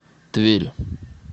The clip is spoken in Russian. тверь